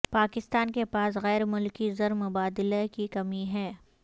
پاکستان کے پاس غیر ملکی زر مبادلہ کی کمی ہے